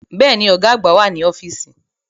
Bẹ́ẹ̀ni, Ọ̀gá àgbà wà ní ọ́fíìsì